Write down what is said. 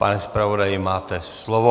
Pane zpravodaji, máte slovo.